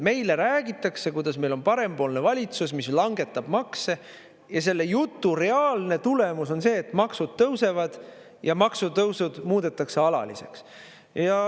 Meile räägitakse, kuidas meil parempoolne valitsus langetab makse, ja selle jutu reaalne tulemus on see, et maksud tõusevad ja maksutõusud muudetakse alaliseks.